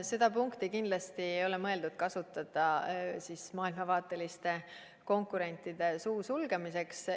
Seda punkti kindlasti ei ole mõeldud kasutada maailmavaateliste konkurentide suu sulgemiseks.